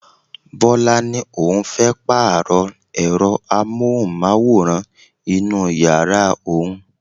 Bọlá ni òun fẹ́ Pààrọ̀ ẹ̀rọ amóhùnmáwòrán inú yàrá òun